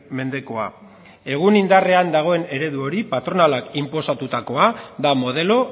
mendekoa egun indarrean dagoen eredu hori patronalak inposatutakoa da modelo